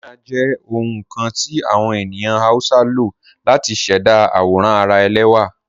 Henna jẹ ohun kan ti awọn ènìyàn Hausa ló látì ṣẹda awòràn ara èlẹwa.